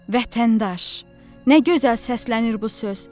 Vətəndaş, nə gözəl səslənir bu söz!